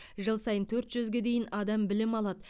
жыл сайын төрт жүзге дейін адам білім алады